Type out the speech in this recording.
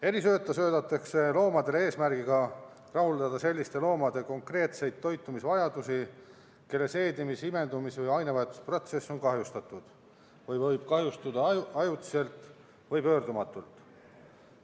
Erisööta söödetakse loomadele eesmärgiga rahuldada selliste loomade konkreetseid toitumisvajadusi, kelle seedimis-, imendumis- või ainevahetusprotsess on kahjustatud või võib kahjustuda ajutiselt või pöördumatult.